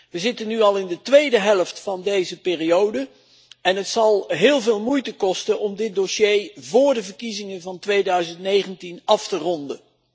We zitten nu al in de tweede helft van deze periode en het zal heel veel moeite kosten om dit dossier vóór de verkiezingen van 2019 af te ronden.